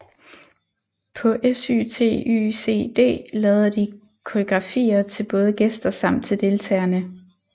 På SYTYCD lavede de koreografier til både gæster samt til deltagerne